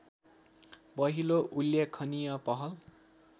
पहिलो उल्लेखनीय पहल